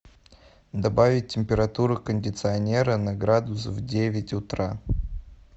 добавить температуру кондиционера на градус в девять утра